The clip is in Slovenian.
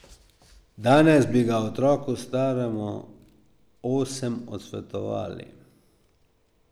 Danes bi ga otroku, staremu osem, odsvetovali.